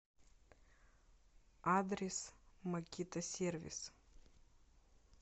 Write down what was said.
адрес макитасервис